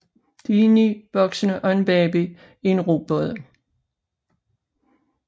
De er ni voksne og en baby i en robåd